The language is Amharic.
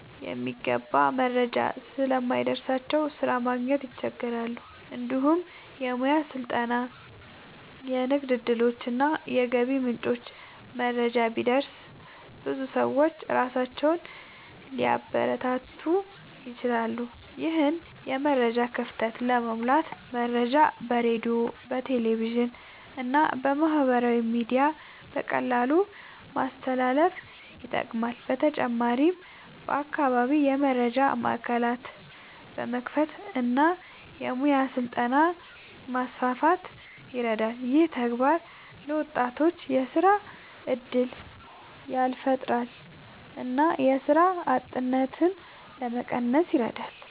የሚገባ መረጃ ስለማይደርስላቸው ስራ ማግኘት ይቸገራሉ። እንዲሁም የሙያ ስልጠና፣ የንግድ እድሎች እና የገቢ ምንጮች መረጃ ቢደርስ ብዙ ሰዎች ራሳቸውን ሊያበረታቱ ይችላሉ። ይህን የመረጃ ክፍተት ለመሙላት መረጃ በሬዲዮ፣ በቴሌቪዥን እና በማህበራዊ ሚዲያ በቀላሉ ማስተላለፍ ይጠቅማል። በተጨማሪም በአካባቢ የመረጃ ማዕከላት መክፈት እና የሙያ ስልጠና ማስፋት ይረዳል። ይህ ተግባር ለወጣቶች የስራ እድል ያፈጥራል እና የስራ አጥነትን ለመቀነስ ይረዳል።